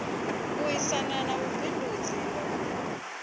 aisana na vhubindudzi na ndangulo